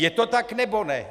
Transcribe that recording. Je to tak, nebo ne?